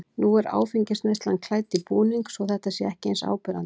Nú er áfengisneyslan klædd í búning svo að þetta sé ekki eins áberandi.